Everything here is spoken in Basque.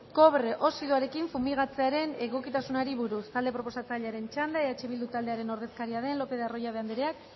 kobre oxidoarekin fumigatzearen egokitasunari buruz talde proposatzailearen txanda eh bildu taldearen ordezkaria den lopez de arroyabe andreak